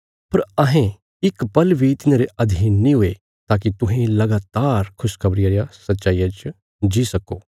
पर अहें इक पल बी तिन्हांरे अधीन नीं हुये ताकि तुहें लगातार खुशखबरिया रिया सच्चाईया च जी सक्को